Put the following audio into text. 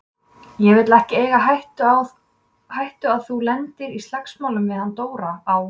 Ég vil ekki eiga á hættu að þú lendir í slagsmálum við hann Dóra á